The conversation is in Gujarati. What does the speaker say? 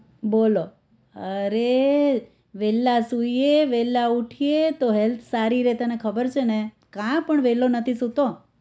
બોલો અરે વેલા સુઇએ વેલા ઉઠીએ તો health સારી રે તને ખબર છે ને કાં પણ વેલો નથી સુતો?